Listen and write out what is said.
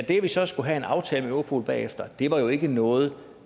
at vi så skulle have en aftale med europol bagefter var jo ikke noget